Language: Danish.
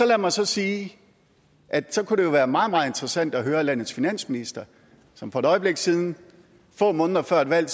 lad mig så sige at så kunne det jo være meget meget interessant at høre landets finansminister som for et øjeblik siden få måneder før et valg